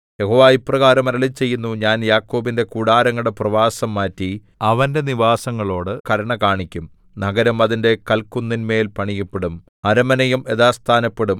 യഹോവ ഇപ്രകാരം അരുളിച്ചെയ്യുന്നു ഞാൻ യാക്കോബിന്റെ കൂടാരങ്ങളുടെ പ്രവാസം മാറ്റി അവന്റെ നിവാസങ്ങളോടു കരുണ കാണിക്കും നഗരം അതിന്റെ കൽക്കുന്നിന്മേൽ പണിയപ്പെടും അരമനയും യഥാസ്ഥാനപ്പെടും